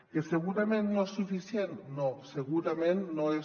que segurament no és suficient no segurament no és